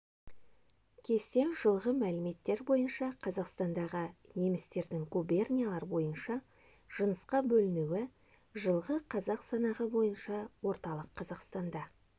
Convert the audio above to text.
кесте жылғы мәліметтер бойынша қазақстандағы немістердің губерниялар бойынша жынысқа бөлінуі жылғы халық санағы бойынша орталық қазақстанда